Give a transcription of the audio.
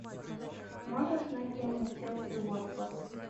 можешь найти мне челси уотфорд